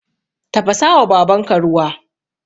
Tafasawa babanka ruwa